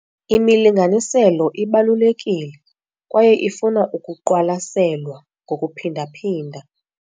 Imilinganiselo ibalulekile kwaye ifuna ukuqwalaselwa ngokuphinda-phinda.